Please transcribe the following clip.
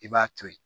I b'a to ye